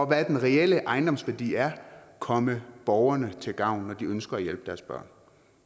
hvad den reelle ejendomsværdi er komme borgerne til gavn når de ønsker at hjælpe deres børn